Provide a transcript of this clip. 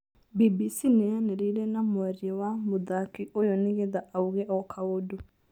BBC nĩyaranĩirie na mwaria wa mũthaki ũyũ nĩgetha auge o-kaũndũ